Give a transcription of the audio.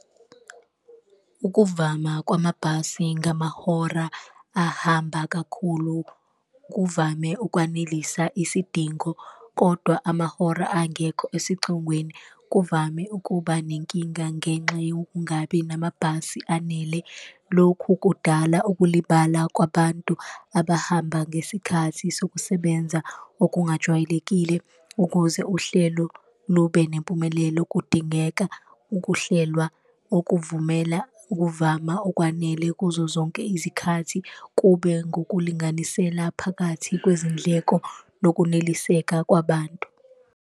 Ukuvama kwamabhasi ngamahora ahamba kakhulu kuvame ukwanelisa isidingo kodwa amahora angekho esicongweni, kuvame ukuba nenkinga ngenxa yokungabi namabhasi anele. Lokhu kudala ukulibala kwabantu abahamba ngesikhathi sokusebenza okungajwayelekile, ukuze uhlelo lube nempumelelo kudingeka ukuhlelwa okuvumela ukuvama okwanele kuzo zonke izikhathi. Kube ngokulinganisela phakathi kwezindleko nokuneliseka kwabantu.